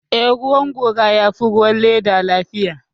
Eh, ruwan gora ya fi ruwan leda lafiya